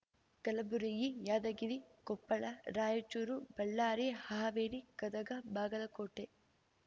Kalaburagi Yadgir Koppal Raichur Ballari Haveri Gadag Bagalkot